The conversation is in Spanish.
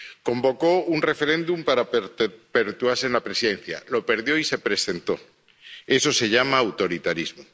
Convocó un referéndum para poder perpetuarse en la presidencia, lo perdió y se presentó eso se llama autoritarismo